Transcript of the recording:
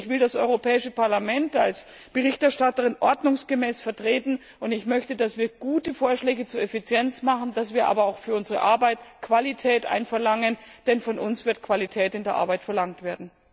Ich will das Europäische Parlament als Berichterstatterin ordnungsgemäß vertreten und möchte, dass wir gute Vorschläge zur Effizienz machen, dass wir aber auch für unsere Arbeit Qualität einfordern, denn von uns wird Qualität in der Arbeit verlangt werden.